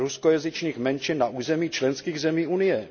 ruskojazyčných menšin na území členských zemí Unie?